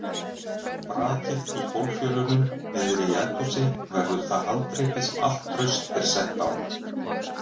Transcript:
Brakið í gólffjölunum niðri í eldhúsi verður það haldreipi sem allt traust er sett á.